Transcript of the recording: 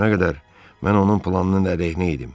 Bugünə qədər mən onun planının əleyhinə idim.